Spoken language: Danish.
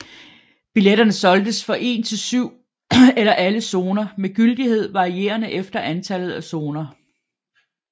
Billetter solgtes for en til syv eller alle zoner med gyldighed varierende efter antallet af zoner